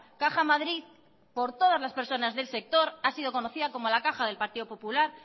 caja madrid por todas las personas del sector ha sido conocida como la caja del partido popular